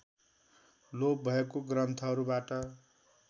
लोप भएको ग्रन्थहरूबाट